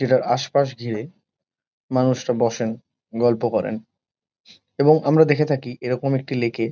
যেটার আশপাশ ঘিরে মানুষরা বসেন গল্প করেন এবং আমরা দেখে থাকি এরকম একটি লেক -এ।